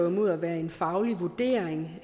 imod at være en faglig vurdering